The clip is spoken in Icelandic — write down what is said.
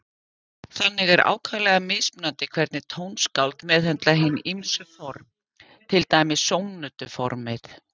Þannig er ákaflega mismunandi hvernig tónskáld meðhöndla hin ýmsu form, til dæmis sónötuformið.